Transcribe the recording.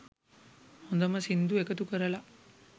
හොඳම සින්දු එකතු කරලා